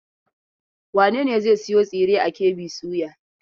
Wane ne zai sayo tsire a KB soya?